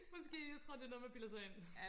måske jeg tror det er noget man bilder sig ind